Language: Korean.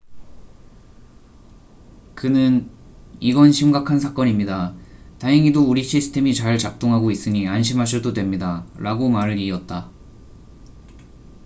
"그는 "이건 심각한 사건입니다. 다행히도 우리 시스템이 잘 작동하고 있으니 안심하셔도 됩니다.""라고 말을 이었다.